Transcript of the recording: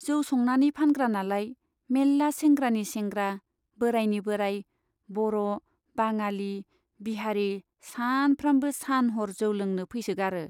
जौ संनानै फानग्रानालाय, मेल्ला सेंग्रानि सेंग्रा , बोराइनि बोराइ , बर' , बाङालि , बिहारी सानफ्रामबो सान हर जौ लोंनो फैसोगारो।